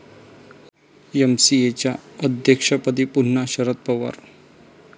एमसीएच्या अध्यक्षपदी पुन्हा शरद पवार